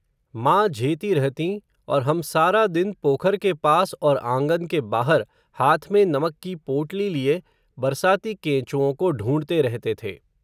माँ, झेती रहतीं, और हम सारा दिन, पोखर के पास, और आँगन के बाहर, हाथ में नमक की पोटली लिए, बरसाती केंचुओं को ढूंढते रहते थे